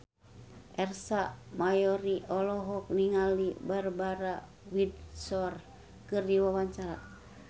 Ersa Mayori olohok ningali Barbara Windsor keur diwawancara